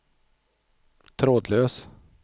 trådlös